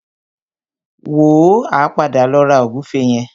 Wò ó, a padà lọ ra ògúnfe yẹn.